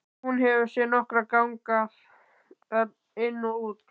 Hún hefur séð nokkra ganga þar inn og út.